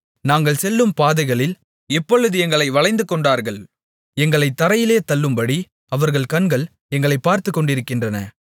நாங்கள் செல்லும் பாதைகளில் இப்பொழுது எங்களை வளைந்துகொண்டார்கள் எங்களைத் தரையிலே தள்ளும்படி அவர்கள் கண்கள் எங்களை பார்த்துக்கொண்டிருக்கின்றன